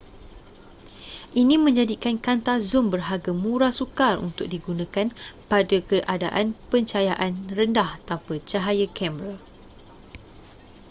ini menjadikan kanta zoom berharga murah sukar untuk digunakan pada keadaan pencahayaan rendah tanpa cahaya kamera